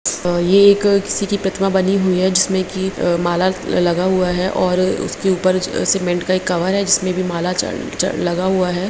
ये एक किसी की प्रतिमा बनी हुई हैं जिसमें की माला लगा हुआ है और इसके ऊपर सीमेंट का एक कवर है जिसमें भी माला च च लगा हुआ है।